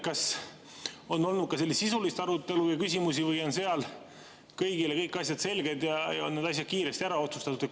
Kas on olnud sisulist arutelu ja küsimusi või on seal kõigile kõik asjad selged ja on need asjad kiiresti ära otsustatud?